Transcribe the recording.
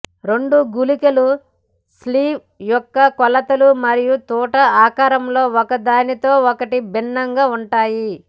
రెండు గుళికలు స్లీవ్ యొక్క కొలతలు మరియు తూటా ఆకారంలో ఒకదానితో ఒకటి భిన్నంగా ఉంటాయి